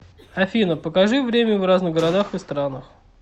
афина покажи время в разных городах и странах